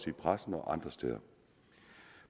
i pressen og andre steder